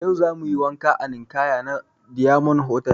Yau zamuyi wanka a ninkaya na diyamond hotal